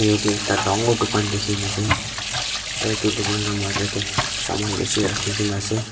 edu yatae ekta dangor dukan dikhi na ase aro edu dukan la major tae saman bishi rakhikaena ase.